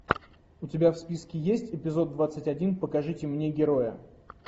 у тебя в списке есть эпизод двадцать один покажите мне героя